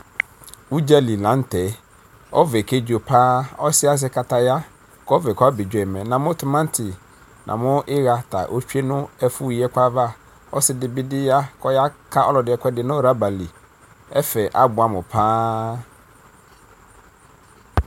ʋɖƶali laŋtɛ ɔvɛ kɛɖƶokpa ɔsiɛ aƶɛ kataya kɔvɛ kɔmɛɖƶoimi namʋ tʋmati namʋ namʋ ihia ta otsʋe nɛƒʋ yiɛkʋava ɔsidibiya kɔyaka ɔlɔdi ɛkʋɛɖi nʋ rɔbali ɛƒɛ abʋɛmʋ kpaa